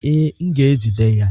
Ee, m ga-ejide ya.